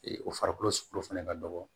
o farikolo suku fɛnɛ ka dɔgɔ